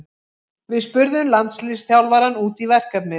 Við spurðum landsliðsþjálfarann út í verkefnið.